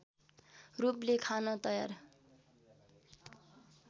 रूपले खान तयार